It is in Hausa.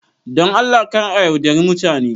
Don Allah kar a yaudari mutane.